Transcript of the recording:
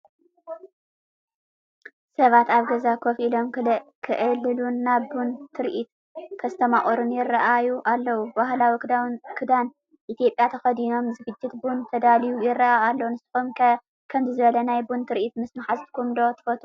ሰባት ኣብ ገዛ ኮፍ ኢሎም ክዕልሉን ናይ ቡን ትርኢት ከስተማቕሩን ይረኣዩ ኣለው። ባህላዊ ክዳን ኢትዮጵያ ተኸዲኖም፣ ዝግጅት ቡን ተዳልዩ ይረአ ኣሎ፡፡ ንስኹም ከ ከምዚ ዝበለ ናይ ቡን ትርኢት ምስ ማሓዙትኩም ዶ ትፈትው?